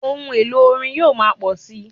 Ohun èlò orin yóò máa pọ̀ síi.